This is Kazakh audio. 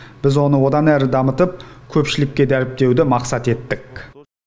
біз оны одан әрі дамытып көпшілікке дәріптеуді мақсат еттік